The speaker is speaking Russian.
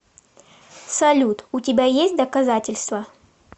салют у тебя есть доказательства